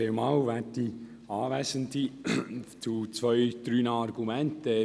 Eine Bemerkung zu einigen Ihrer Argumente: